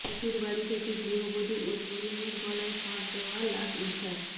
শ্বশুরবাড়ি থেকে গৃহবধূ ও তরুণের গলায় ফাঁস দেওয়া লাশ উদ্ধার